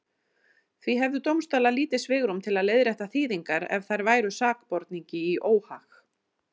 Því hefðu dómstólar lítið svigrúm til að leiðrétta þýðingar ef þær væru sakborningi í óhag.